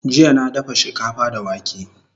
Jjya na dafa shikafa da wake